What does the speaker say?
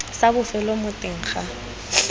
sa bofelo mo teng ga